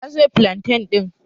Ta soya filantan ɗin